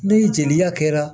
Ni jeliya kɛra